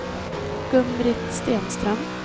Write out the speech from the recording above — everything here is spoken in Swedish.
Gun-Britt Stenström